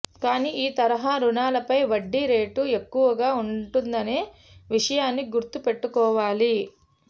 కానీ ఈ తరహా రుణాలపై వడ్డీ రేటు ఎక్కువగా ఉంటుందనే విషయాన్ని గుర్తు పెట్టుకోవాలి